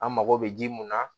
An mago bɛ ji mun na